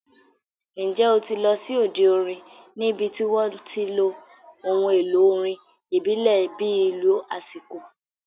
Ǹjẹ́ o ti lọ sí òde orin níbi tí wọ́n ti lo ohun èlò orin ìbílẹ̀ bíi ìlù aṣíko?